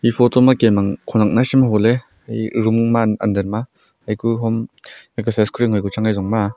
e photo ma kem ang khonek naisem aho ley room under ma aa aku hom exercise kori ang ngo pu chan aa ejung ma aa.